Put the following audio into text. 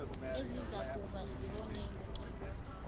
ezizakuba sibonelo kibo